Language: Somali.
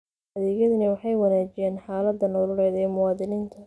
Adeegyadani waxay wanaajiyaan xaaladda nololeed ee muwaadiniinta.